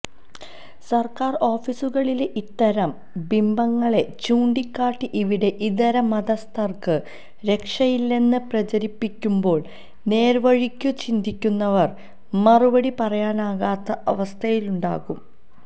സർക്കാർ ഓഫീസുകളിലെ ഇത്തരം ബിംബങ്ങളെ ചൂണ്ടിക്കാട്ടി ഇവിടെ ഇതര മതസ്ഥർക്ക് രക്ഷയില്ലെന്ന് പ്രചരിപ്പിക്കുമ്പോൾ നേർവഴിക്കു ചിന്തിക്കുന്നവർക്ക് മറുപടി പറയാനാകാത്ത അവസ്ഥയുണ്ടാകും